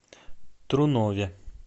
трунове